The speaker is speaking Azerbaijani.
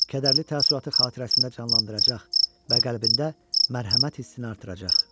Kədərli təəssüratı xatirəsində canlandıracaq və qəlbində mərhəmət hissini artıracaq.